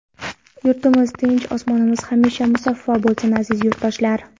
Yurtimiz tinch, osmonimiz hamisha musaffo bo‘lsin, aziz yurtdoshlar!